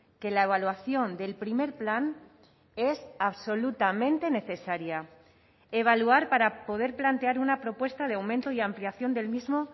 que la evaluación del primer plan es absolutamente necesaria evaluar para poder plantear una propuesta de aumento y ampliación del mismo